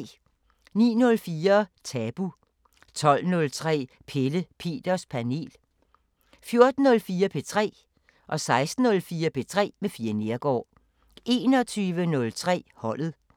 09:04: Tabu 12:03: Pelle Peters Panel 14:04: P3 16:04: P3 med Fie Neergaard 21:03: Holdet